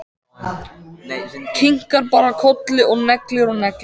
Kinkar bara kolli og neglir og neglir.